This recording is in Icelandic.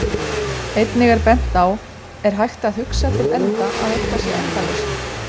Einnig er bent á Er hægt að hugsa til enda að eitthvað sé endalaust?